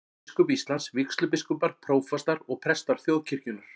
Biskup Íslands, vígslubiskupar, prófastar og prestar þjóðkirkjunnar.